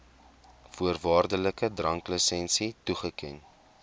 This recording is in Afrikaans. voorwaardelike dranklisensie toeken